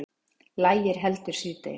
Lægir heldur síðdegis